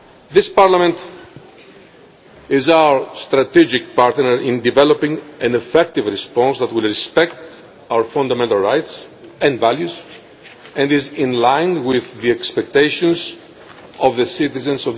This Parliament is our strategic partner in developing an effective response that will respect our fundamental rights and values and be in line with the expectations of Europe's citizens.